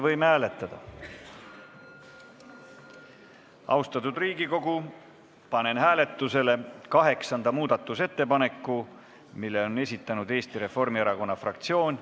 Austatud Riigikogu, panen hääletusele kaheksanda muudatusettepaneku, mille on esitanud Eesti Reformierakonna fraktsioon.